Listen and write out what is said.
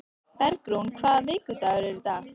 Bergrún, hvaða vikudagur er í dag?